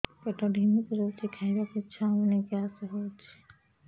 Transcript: ପେଟ ଢିମିକି ରହୁଛି ଖାଇବାକୁ ଇଛା ହଉନି ଗ୍ୟାସ ହଉଚି